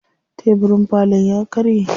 Tebirin falon ya karye.